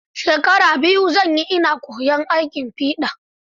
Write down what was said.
Shekara biyu zan yi ina koyan aikin fiɗa.